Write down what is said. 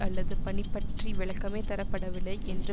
அல்லது பணிபற்றி விளக்கமே தரப்படவில்லை என்று